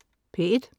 P1: